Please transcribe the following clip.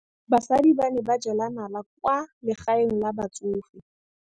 Basadi ba ne ba jela nala kwaa legaeng la batsofe.